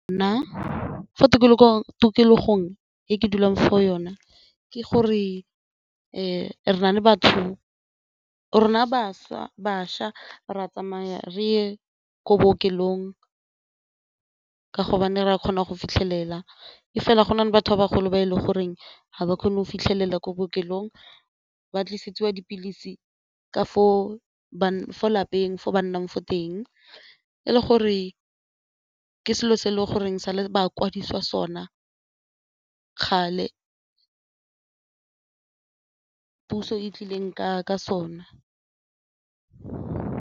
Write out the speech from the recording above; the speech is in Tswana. Nna fa tikologong e ke dulang fo yona ke gore rona bašwa re a tsamayeng reye ko bookelong ka gobane re a kgona go fitlhelela e fela go na le batho ba bagolo ba e le goreng ga ba kgone go fitlhelela ko bookelong ba tlisitse wa dipilisi ka for fa lapeng fo ba nnang fo teng e le gore ke selo se e le goreng sa le ba kwadisiwa sona kgale puso e tlileng ka sona.